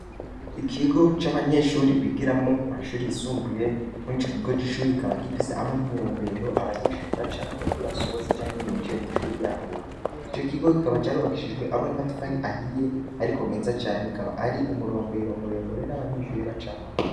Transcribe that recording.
ikigo c'abanyeshuri bigiramo mu mashuri yisumbuye, muri ico kigo c'ishuri kikaba gifise hamwe n'imirombero, abanyeshuri bacamwo iyo basohotse canke iyo binjiye mw'ishuri ryabo, ico kigo kikaba carubakishijwe hamwe n'amatafari ahiye ariko meza cane, akaba ari umurombero muremure n'abanyeshuri bacamwo.